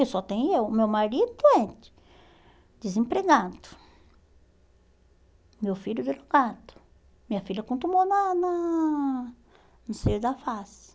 Eu só tenho eu, meu marido doente, desempregado, meu filho deslocado, minha filha com tumor na na no seio da face.